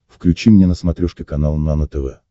включи мне на смотрешке канал нано тв